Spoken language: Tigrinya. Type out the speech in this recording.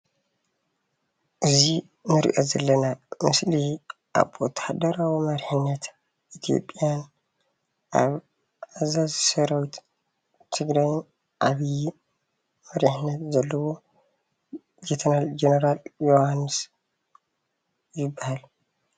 እዚ እንሪኦ ዘለና ምስሊ ኣብ ወታደራዊ መሪሕነት ኢ/ያን ኣብ ኣዛዚ ሰራዊት ትግራይን ዓብይ መሪሕነት ዘለዎ ሌተናል ጀነራል የውሃንስ ይባሃል፡፡